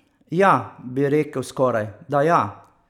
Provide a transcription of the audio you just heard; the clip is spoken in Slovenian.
Ja, bi rekel skoraj, da ja.